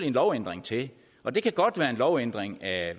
en lovændring til og det kan godt være en lovændring af